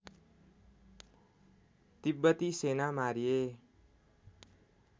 तिब्बती सेना मारिए